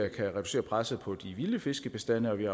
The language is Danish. reducere presset på de vilde fiskebestande og vi